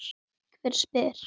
Hver spyr?